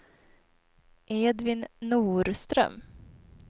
Edvin Norström